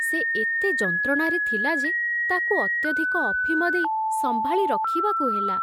ସେ ଏତେ ଯନ୍ତ୍ରଣାରେ ଥିଲା ଯେ ତାକୁ ଅତ୍ୟଧିକ ଅଫିମ ଦେଇ ସମ୍ଭାଳି ରଖିବାକୁ ହେଲା।